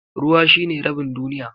Ruwa shine rabin duniya.